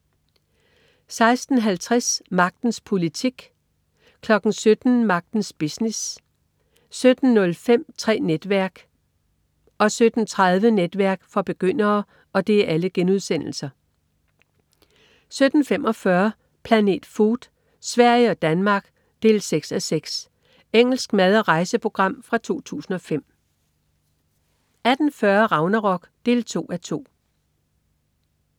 16.50 Magtens politik* 17.00 Magtens business* 17.05 Tre netværk* 17.30 Netværk for begyndere* 17.45 Planet Food: Sverige og Danmark. 6:6 Engelsk mad/rejseprogram fra 2005 18.40 Ragnarok 2:2